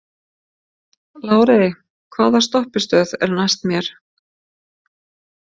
Lárey, hvaða stoppistöð er næst mér?